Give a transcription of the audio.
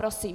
Prosím.